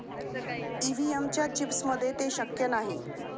EVM च्या चिप्समध्ये ते शक्य नाही.